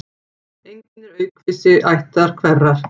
Einn er aukvisi ættar hverrar.